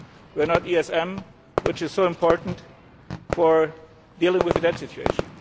We are not the ESM, which is so important for dealing with the debt situation.